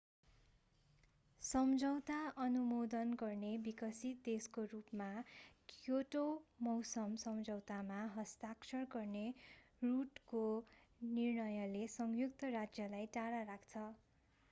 सम्झौता अनुमोदन नगर्ने विकसित देशको रूपमा क्योटो मौसम सम्झौतामा हस्ताक्षर गर्ने रुड्को निर्णयले संयुक्त राज्यलाई टाढा राख्छ